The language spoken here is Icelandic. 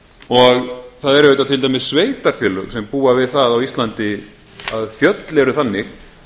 það eru auðvitað til dæmis sveitarfélög sem búa við það á íslandi að fjöll eru þannig